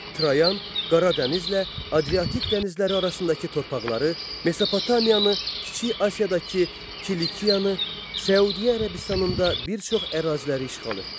Trayan Qara dənizlə Adriatik dənizləri arasındakı torpaqları, Mesopotamiyanı, Kiçik Asiyadakı Kilikiya, Səudiyyə Ərəbistanında bir çox əraziləri işğal etdi.